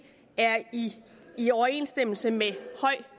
er i i overensstemmelse med høj